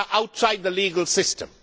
They are outside the legal system.